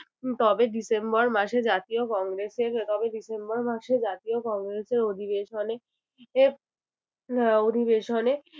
তবে ডিসেম্বর মাসে জাতীয় কংগ্রেসের তবে ডিসেম্বর মাসে জাতীয় কংগ্রেসের অধিবেশনে যে আহ অধিবেশনে